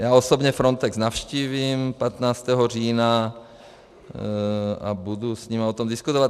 Já osobně Frontex navštívím 15. října a budu s nimi o tom diskutovat.